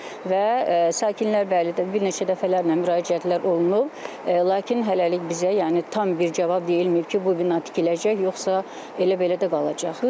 Və sakinlər, bəli, bir neçə dəfələrlə müraciətlər olunub, lakin hələlik bizə, yəni tam bir cavab deyilməyib ki, bu bina tikiləcək yoxsa belə-belə də qalacaq.